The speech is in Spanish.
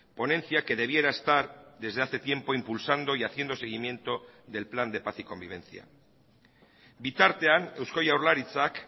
ponencia que debiera estar desde hace tiempo impulsando y haciendo seguimiento del plan de paz y convivencia bitartean eusko jaurlaritzak